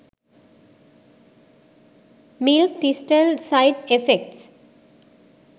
milk thistle side effects